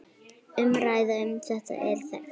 Umræða um þetta er þekkt.